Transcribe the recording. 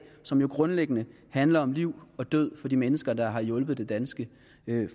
som jo grundlæggende handler om liv og død for de mennesker der har hjulpet det danske